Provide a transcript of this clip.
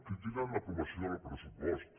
critiquen l’aprovació del pressupost